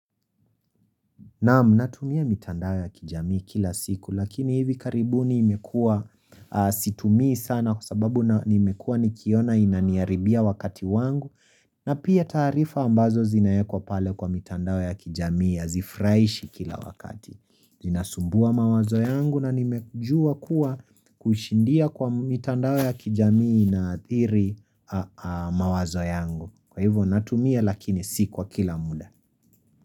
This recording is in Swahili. Naam natumia mitandao ya kijamii kila siku lakini hivi karibu nimekua situmii sana kwa sababu nimekuwa nikiona inaniharibia wakati wangu na pia taarifa ambazo zinaeekwa pale kwa mitandao ya kijamii hazifurahishi kila wakati. Inasumbua mawazo yangu na nimejua kuwa kushindia kwa mitandao ya kijamii inaathiri mawazo yangu. Kwa hivyo natumia lakini si kwa kila muda.